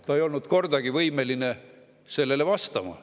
Ta ei olnud kordagi võimeline sellele vastama.